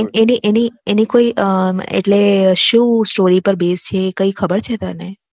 એની એની એની કોઈ એટલે શું સ્ટોરી પાર બેઝ છે એ કઈ ખબર છે તને?